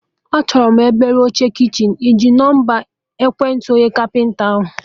Achọrọ m obele oche kichin, ịji nọmba ekwentị onye kapịnta ahụ?